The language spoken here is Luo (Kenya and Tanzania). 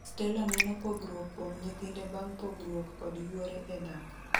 Stella neno pogruok kuom nyithinde bang' pogruok kod yuore e dak.